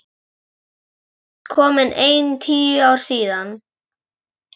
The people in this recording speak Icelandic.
Það eru víst komin ein tíu ár síðan.